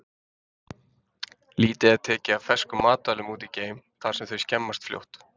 Lítið er tekið af ferskum matvælum út í geim, þar sem þau skemmast fljótt.